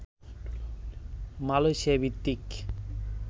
Malaysia ভিত্তিক